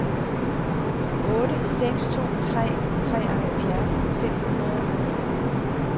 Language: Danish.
otte seks to tre treoghalvfjerds fem hundrede og nitten